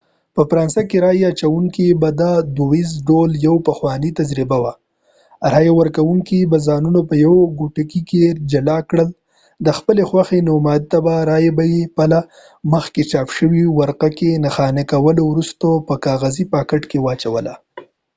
په فرانسه کې رایه اچوونه به دودیز ډول یوه پخوانۍ تجربه وه رایه ورکوونکو به ځانونه په یو کوټګۍ کې جلا کړل د خپلې خوښې نوماند ته رایه به یې په له مخکې چاپ شوې ورقه کې نښاني کولو وروسته په کاغذي پاکټ کې اچوله